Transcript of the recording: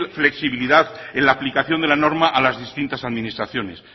flexibilidad en la aplicación de la norma a las distintas administraciones